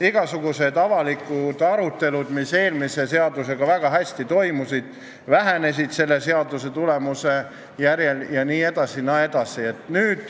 Igasugused avalikud arutelud, mis eelmise seaduse ajal väga hästi toimisid, vähenesid uue seaduse tulemusel jne.